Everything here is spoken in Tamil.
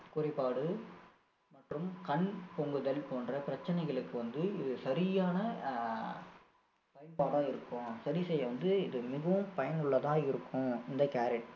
குறைபாடு மற்றும் கண் பொங்குதல் போன்ற பிரச்சனைகளுக்கு வந்து இது சரியான அஹ் பயன்பாடா இருக்கும் சரி செய்ய வந்து இது மிகவும் பயனுள்ளதா இருக்கும் இந்த carrot